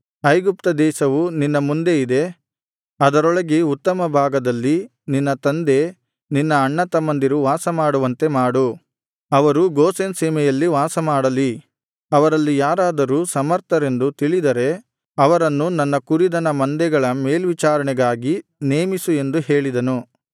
ಐಗುಪ್ತ ದೇಶವು ನಿನ್ನ ಮುಂದೆ ಇದೆ ಅದರೊಳಗೆ ಉತ್ತಮ ಭಾಗದಲ್ಲಿ ನಿನ್ನ ತಂದೆ ನಿನ್ನ ಅಣ್ಣತಮ್ಮಂದಿರು ವಾಸಮಾಡುವಂತೆ ಮಾಡು ಅವರು ಗೋಷೆನ್ ಸೀಮೆಯಲ್ಲಿ ವಾಸಮಾಡಲಿ ಅವರಲ್ಲಿ ಯಾರಾದರೂ ಸಮರ್ಥರೆಂದು ತಿಳಿದರೆ ಅವರನ್ನು ನನ್ನ ಕುರಿದನ ಮಂದೆಗಳ ಮೇಲ್ವಿಚಾರಣೆಗಾಗಿ ನೇಮಿಸು ಎಂದು ಹೇಳಿದನು